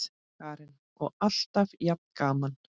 Karen: Og alltaf jafn gaman?